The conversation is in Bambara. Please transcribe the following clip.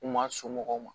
U ma somɔgɔw